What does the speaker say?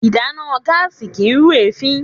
Ìdáná gáàsì kìí rú èéfín.